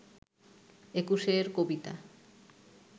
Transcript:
একুশের কবিতা